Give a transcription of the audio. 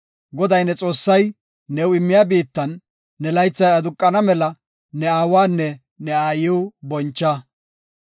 “Goday ne Xoossay new immiya biittan ne laythay aduqana mela ne aawanne ne aayiw boncha.